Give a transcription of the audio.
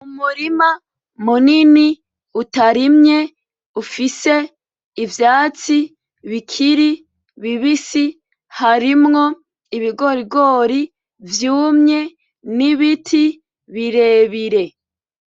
Umurima munini utarimye ufise ivyatsi bikiri bibisi harimwo ibigorigori vyumye n’ibiti birebire.